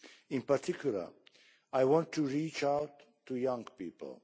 In particular, I want to reach out to young people.